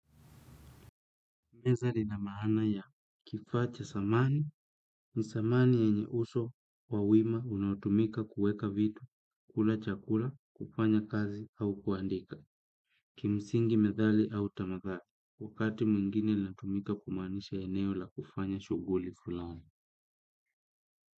Meza lina maana ya kifaa cha samani ni samani yanye uso wa wima unaotumika kueka vitu, kula chakula, kufanya kazi au kuandika. Kimsingi methali au tamadhali, wakati mwingine inatumika kumaanisha eneo la kufanya shughuli fulani.